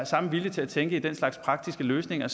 samme vilje til at tænke i den slags praktiske løsninger